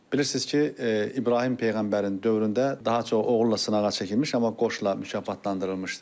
Bilirsiniz ki, İbrahim peyğəmbərin dövründə daha çox oğulla sınağa çəkilmiş, amma qoçla mükafatlandırılmışdı.